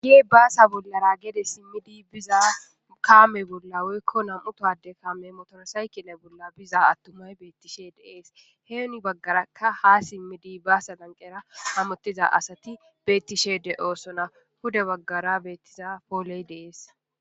gi baasa bollara gede simmidi biza kaame bolla woykko nam7utade kaame motorasaykine bolla biza attumay beettishe deees heeni baggarakka ha simmidi baasa danqera hamottiza asati beettishe de7oosona pude baggara beettiza pooley de'ees